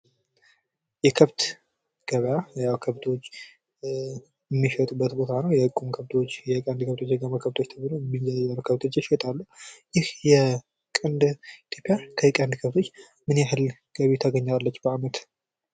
የከብት ገበያ ያው ከብቶች የሚሸጡበት ቦታ ነው። የቁም ከብቶች፣ የቀንድ ከብቶች፣ የጋማ ከብቶች ተብለው ከብቶች ይሸጣሉ። ኢትዮጵያ ከቀንድ ከብቶች ምን ያህል ገቢ ታገኛለች በአመት?